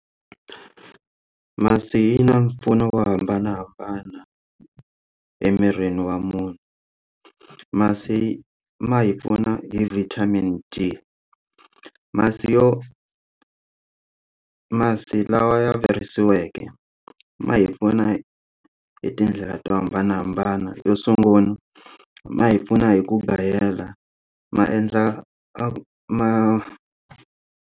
Masi yi na mpfuno wo hambanahambana emirini wa munhu masi ma hi pfuna hi vitamin d masi yo masi lawa ya virisiweke ma hi pfuna hi tindlela to hambanahambana yo sungula ma hi pfuna hi ku gayela maendla ma ma.